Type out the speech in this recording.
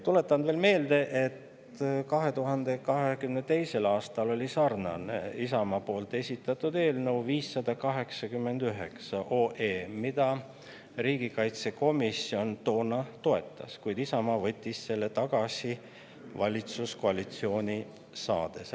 Tuletan veel meelde, et 2022. aastal oli sarnane Isamaa esitatud eelnõu – 589 OE –, mida riigikaitsekomisjon toona toetas, kuid Isamaa võttis selle pärast valitsuskoalitsiooni saamist tagasi.